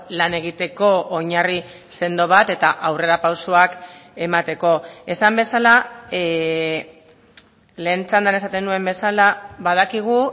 lan egiteko oinarri sendo bat eta aurrerapausoak emateko esan bezala lehen txandan esaten nuen bezala badakigu